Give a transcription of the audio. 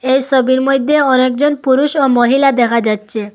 এ ছবির মইধ্যে অনেকজন পুরুষ ও মহিলা দেখা যাচ্ছে।